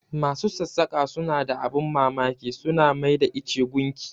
Masu sassaƙa suna da abin mamaki, su na mai da ice gunki.